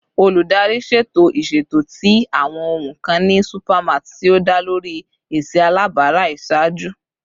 Oludari ṣeto iṣeto ti awọn ohun kan ni supermarts ti o da lori esi alabara iṣaaju